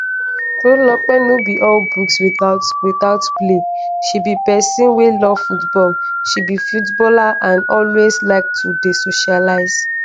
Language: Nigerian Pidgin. tolulolpe no be all books without without play she be pesin wey love football she be footballer and always like to dey socialise.